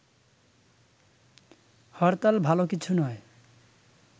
হরতাল ভালো কিছু নয়